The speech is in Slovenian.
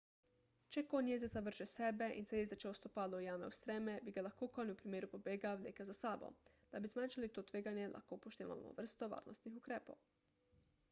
če konj jezdeca vrže s sebe in se jezdečevo stopalo ujame v streme bi ga lahko konj v primeru pobega vlekel za sabo da bi zmanjšali to tveganje lahko upoštevamo vrsto varnostnih ukrepov